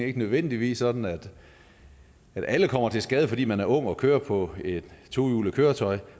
ikke nødvendigvis sådan at alle kommer til skade fordi man er ung og kører på et tohjulet køretøj